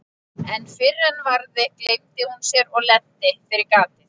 En fyrr en varði gleymdi hún sér og lenti fyrir gatið.